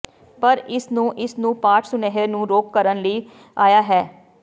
ਪਰ ਇਸ ਨੂੰ ਇਸ ਨੂੰ ਨੂੰ ਪਾਠ ਸੁਨੇਹੇ ਨੂੰ ਰੋਕ ਕਰਨ ਲਈ ਆਇਆ ਹੈ